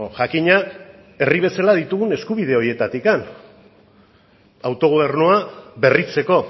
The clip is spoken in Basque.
jakina herri bezala ditugun eskubide horietatik autogobernua berritzeko